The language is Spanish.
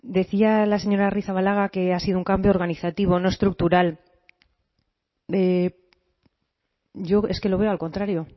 decía la señora arrizabalaga que ha sido un cambio organizativo no estructural yo es que lo veo al contrario